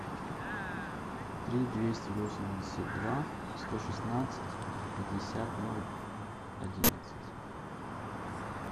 три двести восемьдесят два сто шестнадцать пятьдесят ноль одиннадцать